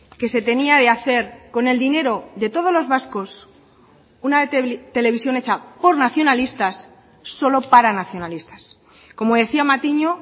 que se tenía de hacer con el dinero de todos los vascos una televisión hecha por nacionalistas solo para nacionalistas como decía matiño